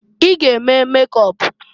I g'eme mekọp!